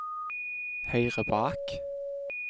høyre bak